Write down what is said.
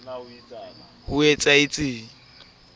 bo be bo o timella